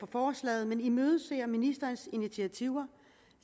forslaget men imødeser ministerens initiativer